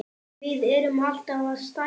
Við erum alltaf að stækka.